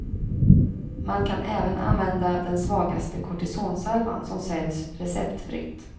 Man kan även använda den svagaste kortisonsalvan som säljs receptfritt.